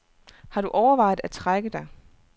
Har du overvejet at trække dig?